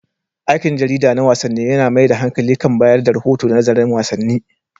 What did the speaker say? Aikin jarida na wasanni yAna mai da hankali kan bayar da rahoto da nazarin wasanni